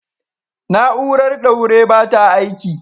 Na'urar ɗaure ba ta aiki